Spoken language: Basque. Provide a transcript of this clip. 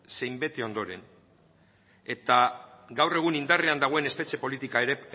zein bete ondoren eta gaur egun indarrean dagoen espetxe